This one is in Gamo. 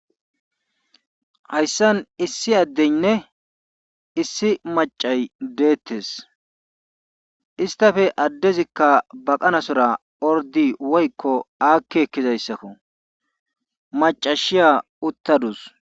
Hayssan issi adenne issi maccay beetees istappe addezi baqanasora orddi woykko aaki ekizayssakko. macashiya utadus.